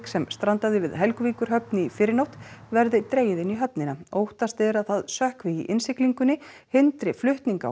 sem strandaði við Helguvíkurhöfn í fyrrinótt verði dregið inn í höfnina óttast er að það sökkvi í innsiglingunni hindri flutning á